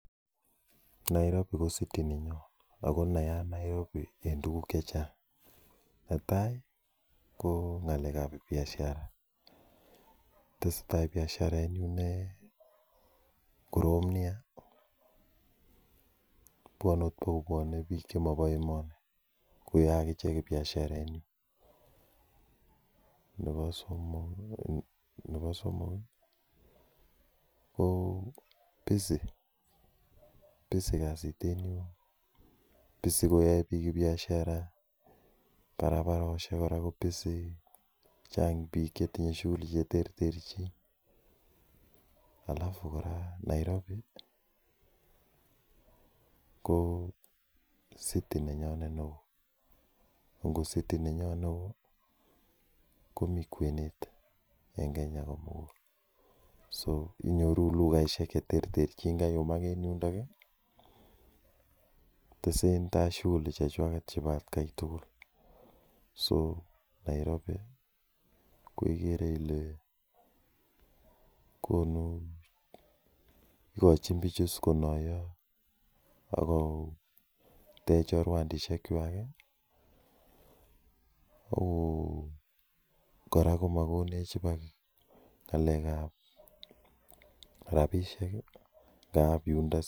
Nairobi ko city nenyon ako nayaat Nairobi en tuguk chechang netai ko ng'alek ab biashara tesetai biashara en yun nekorom nia bwone ot baka biik chemobo emoni koyoe ak ichek biashara en yuu nebo somok nebo somok ko busy, busy kasit en yun busy koyoe biik biashara barabarosiek kora ko busy chang biik chetinye shughuli cheterterchin alafu kora Nairobi ko city nenyonet neoo ko ngo city nenyon neoo komii kwenet en Kenya komugul so inyoru lugaisiek cheterterchin kayumak en yundon ih tesentai shughuli chechwaket chebo atkai tugul so Nairobi ko kikere ile konu ikochin bichu konoyo ako tech chorwandisiek kwak kou kora komokonech ibak ng'alek ab rapisiek ngap yundo